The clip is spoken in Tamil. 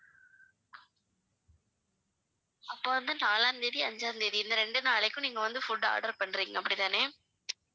அப்ப வந்து நாளாம் தேதி அஞ்சாம் தேதி இந்த ரெண்டு நாளைக்கும் நீங்க வந்து food order பண்றீங்க அப்படித்தானே